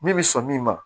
Min bɛ sɔn min ma